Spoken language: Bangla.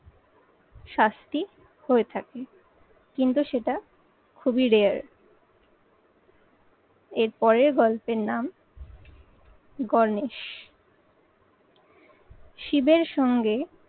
শাস্তি হয়ে থাকে কিন্তু সেটা খুবই rare এর পরের গল্পের নাম গণেশ। শিবের সঙ্গে